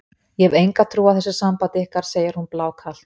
Ég hef enga trú á þessu sambandi ykkar, segir hún blákalt.